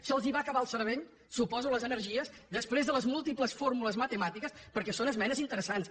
se’ls va acabar el cervell suposo que les energies després de les múltiples fórmules matemàtiques perquè són esmenes interessants